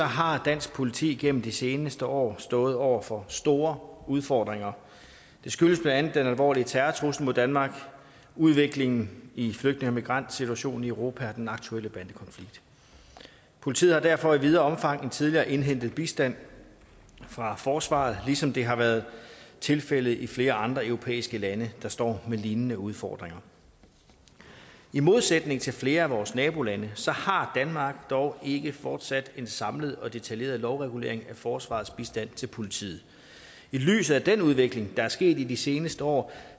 har dansk politi gennem de seneste år stået over for store udfordringer det skyldes blandt andet den alvorlige terrortrussel mod danmark udviklingen i flygtninge og migrantsituationen i europa og den aktuelle bandekonflikt politiet har derfor i videre omfang end tidligere indhentet bistand fra forsvaret ligesom det har været tilfældet i flere andre europæiske lande der står med lignende udfordringer i modsætning til flere af vores nabolande har danmark dog ikke fortsat en samlet og detaljeret lovregulering af forsvarets bistand til politiet i lyset af den udvikling der er sket i de seneste år